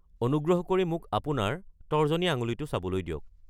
অনুগ্ৰক কৰি মোক আপোনাৰ তৰ্জনী আঙুলিটো চাবলৈ দিয়ক।